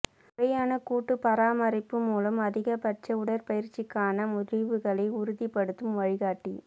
முறையான கூட்டு பராமரிப்பு மூலம் அதிகபட்ச உடற்பயிற்சிக்கான முடிவுகளை உறுதிப்படுத்தும் வழிகாட்டி